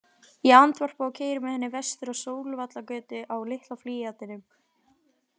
Ég andvarpa og keyri með henni vestur á Sólvallagötu á litla Fíatinum.